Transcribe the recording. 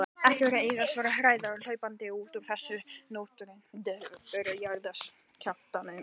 Ekki ein einasta hræða kom hlaupandi út úr þessum nötrandi byggingum til að flýja jarðskjálftann.